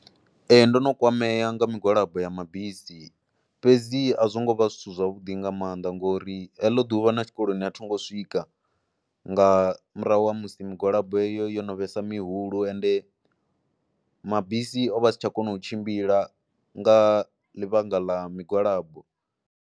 Ee ndo no kwamea nga migwalabo ya mabisi fhedzi a zwo ngo vha zwithu zwavhuḓi nga maanḓa ngori heḽo ḓuvha na tshikoloni a tho ngo swika nga murahu ha musi migwalabo yo no vhesa mihulu ende mabisi o vha si tsha kona u tshimbila nga ḽivhanga ḽa migwalabo.